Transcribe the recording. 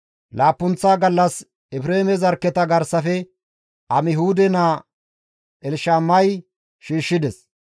Laappunththo gallas Efreeme zarkketa garsafe Amihuude naa Elshamay shiishshides.